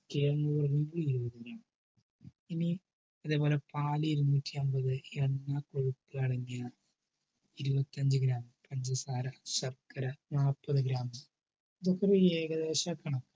അതേപോലെ പാല് എഴുനൂറ്റിയന്പത് എണ്ണ കൊഴുപ്പ് അടങ്ങിയ ഇരുപത്തിരണ്ടു gram മും പഞ്ചസാര ശർക്കര നാല്പത് gram മും. ഇതൊക്കെ ഒരു ഏകദേശ കണക്കാണ്